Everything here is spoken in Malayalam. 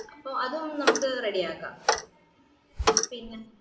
അപ്പൊ അതൊന്ന് നമ്മക്ക് ready പിന്നാ